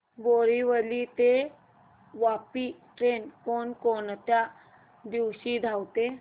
बोरिवली ते वापी ट्रेन कोण कोणत्या दिवशी धावते